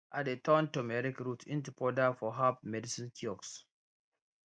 i dey turn turmeric root into powder for herb medicine kiosk